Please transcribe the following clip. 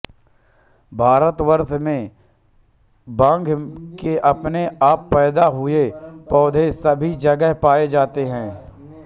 भारतवर्ष में भांग के अपने आप पैदा हुए पौधे सभी जगह पाये जाते हैं